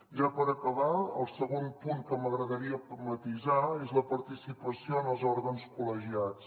ja per acabar el segon punt que m’agradaria matisar és la participació en els òrgans col·legiats